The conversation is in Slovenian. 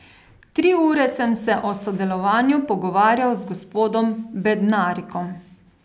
Tri ure sem se o sodelovanju pogovarjal z gospodom Bednarikom.